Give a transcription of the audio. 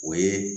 O ye